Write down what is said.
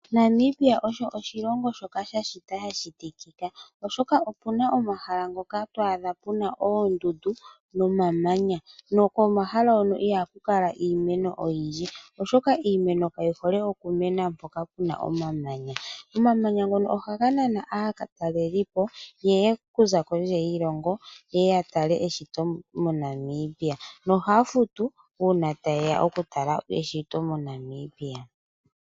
Namibia osho oshilongo shoka sha shitwa sha shitikika, oshoka opu na omahala ngoka to adha oondundu nomamanya, nokomahala hono ihaku kala iimeno oyindji. Oshoka iimeno kayi hole oku mena mpoka pu na omamanya. Omamanya ngono ohaga nana aatalelipo, yeye oku za kondje yiilongo, yeye ya tale eshito moNamibia. Nohaya futu uuna ta yeya oku tala eshito moNamibia.